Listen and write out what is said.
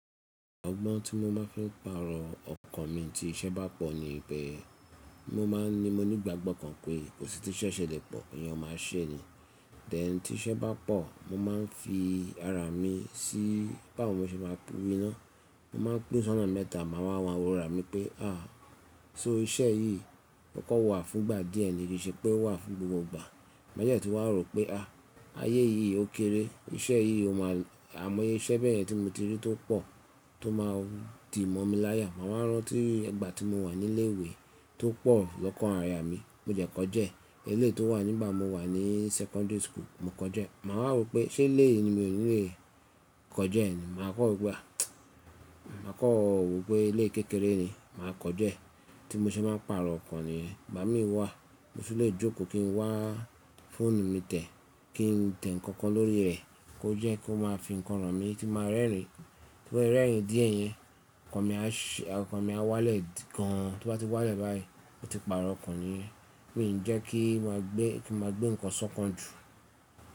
Ọgbọ́n tí mo bá fi ń pàrọ̀ ọkọ̀ mi tí iṣẹ́ bá pọ̀ nì pe. Mo máa ń ní mọ nígbàgbọ́ kan pé kò sí ti íṣẹ́ ṣẹ lẹ pọ̀, èèyàn máa ṣe ni. Tẹ́ ti iṣẹ́ bá pọ̀, mo ma ń fi ara mi sí báwo mo ṣe máa pín ná. Mo ma ń pín ṣonà mẹ́ta, màá wá wọ́ra mi pé à, só iṣẹ́ yìí tó kọ wà fún ìgbà díẹ̀ ni, ki i ṣe pé ó wà fún gbogbo ìgbà. Lẹ́yìn ẹ́ tí wàá rò pé à, ayé yìí ó kéré, iṣẹ́ yìí ó máa lọ, àimọ́ye iṣẹ́ bẹ́ẹ̀ ni tí mo ti rí tó pọ̀ tó máa di mọ́ mi láyà. Màwá rántí ìgbà tí mo wà ní ilé ìwé tó pọ̀ lọ́kàn aya mi, mo dẹ́ kọ̀já ẹ́. Ilé tó wà nígbà mo wà ní secondary school, mo kọ̀já ẹ́. Màá rò pé ṣé ilé yìí mi ò ní le kọ̀já ẹ́ ni. Màá kọ́ wo pe ah màá kọ́ wò pé ilé kékeré ni, màá kọ̀já ẹ́. Tí mo ṣe máa pàrọ̀ ọkọ̀ nìyẹn, bàbá mi wà, mo sì le jókòó kí n wá fóònù mi tẹ̀ kí n tẹ̀ nǹkan kan lórí rẹ̀ kó jẹ́ kó máa fi nǹkan ràn mí kí n máa rẹ́rìn-ín. Tí mo bá rẹ́rìn-ín díẹ̀ yẹn, ọkan mi á wálẹ̀ gan-an. Tó bá ti wálẹ̀ báyìí, mo ti pàrọ̀ ọkan nìyẹn. Mi o ki jẹ́ kí maa n gbé nǹkan ṣọ̀kan jù.